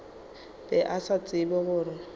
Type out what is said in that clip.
be a sa tsebe gore